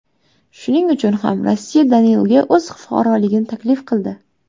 Shuning uchun ham Rossiya Danilga o‘z fuqaroligini taklif qildi.